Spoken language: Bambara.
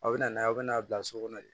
A bɛ na n'a ye aw bɛna n'a bila so kɔnɔ de